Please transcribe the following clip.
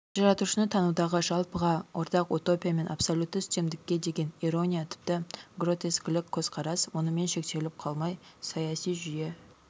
жаратушыны танудағы жалпыға ортақ утопия мен абсолютті үстемдікке деген ирония тіпті гротескілік көзқарас мұнымен шектеліп қалмай саяси жүйе